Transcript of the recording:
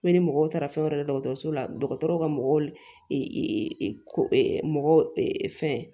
ni mɔgɔw taara fɛn wɛrɛ la dɔgɔtɔrɔso la dɔgɔtɔrɔw ka mɔgɔw fɛn